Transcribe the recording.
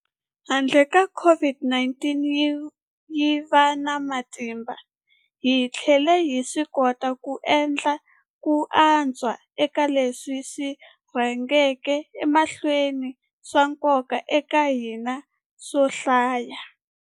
Handle ka kuva COVID-19 yi va na matimba, hi tlhele hi swikota ku endla ku antswa eka leswi swi rhangaka emahlweni swa nkoka eka hina swo hlaya.